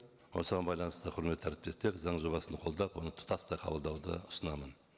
осыған байланысты құрметті әріптестер заң жобасын қолдап оны тұтастай қабылдауды ұсынамын